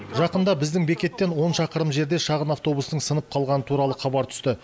жақында біздің бекеттен он шақырым жерде шағын автобустың сынып қалғаны туралы хабар түсті